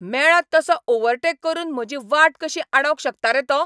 मेळत तसो ओव्हरटेक करून म्हजी वाट कशी आडावंक शकता रे तो?